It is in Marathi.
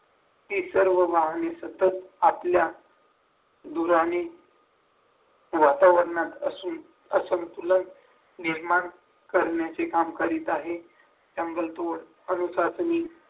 ही सर्व वाहने सतत आपल्या धुराने वातावरणात अशी असंतुलन निर्माण करण्याचे काम करीत आहेत जंगलतोड अनुशासनी